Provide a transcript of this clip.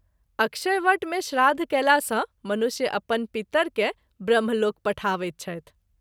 अक्षयवट मे श्राद्ध कएला सँ मनुष्य अपन पितर के ब्रह्मलोक पठावैत छथि।